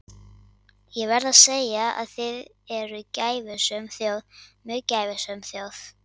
Ég verð að segja að þið eruð gæfusöm þjóð, mjög gæfusöm þjóð.